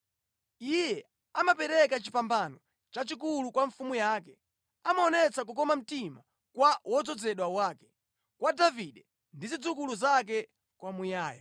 “Iye amapereka chipambano chachikulu kwa mfumu yake, amaonetsa kukoma mtima kwa wodzozedwa wake, kwa Davide ndi zidzukulu zake kwamuyaya.”